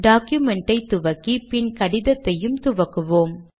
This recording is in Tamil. டாக்குமென்டை துவக்கி பின் கடிதத்தையும் துவங்குவோம்